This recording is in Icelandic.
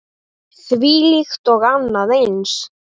Þvílíkt og annað eins.